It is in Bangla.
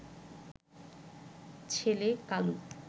ছেলে কালু